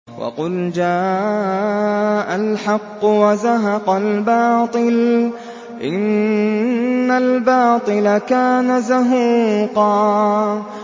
وَقُلْ جَاءَ الْحَقُّ وَزَهَقَ الْبَاطِلُ ۚ إِنَّ الْبَاطِلَ كَانَ زَهُوقًا